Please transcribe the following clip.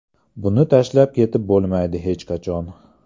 Buni tashlab ketib bo‘lmaydi hech qachon.